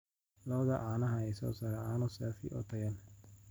Lo'da caanaha ayaa soo saara caano saafi ah oo tayo leh.